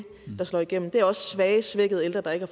der slår igennem det rummer også svage og svækkede ældre der ikke